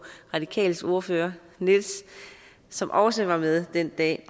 radikales ordfører nils som også var med den dag